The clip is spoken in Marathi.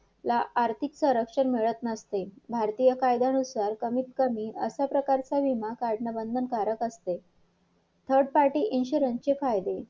ते फेडायच ते फेडल्यावर मग आपल्याला light bill बघायचं light bill द्यायचं त्याच्यातून त्याच्यातून जेवढे पैसे उरतील तेवढे दहा जणांमधून महिन्यात वाठवून घ्यायचं असा आहे. कळालं